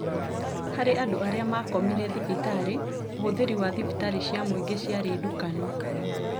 Harĩ andũ arĩa makomire thibitarĩ, ũhũthĩri wa thibitarĩ cia mũingĩ ciarĩ ndukanu